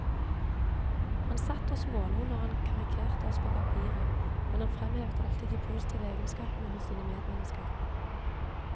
Han satt og smålo når han karikerte oss på papiret, men han fremhevet alltid de positive egenskapene hos sine medmennesker.